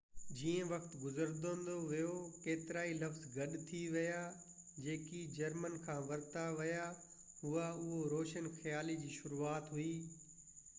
جيئن وقت گذرندو ويو ڪيترائي لفظ گڏ ٿي ويا جيڪي جرمن کان ورتا ويا هئا اهو روشن خيالي جي شروعات هئي